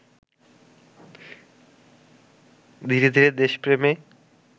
ধীরে ধীরে দেশপ্রেমে